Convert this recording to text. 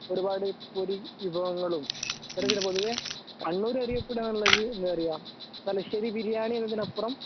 ഒരുപാട് പൊടി വിഭവങ്ങളും അത്തരത്തിലു പൊതുവേ കണ്ണൂര് അറിയപ്പെടാനുള്ളത് എന്താന്നറിയോ തലശ്ശേരിബിരിയാണി എന്നതിനപ്പുറം